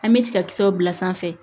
An bɛ cɛkisɛw bila sanfɛ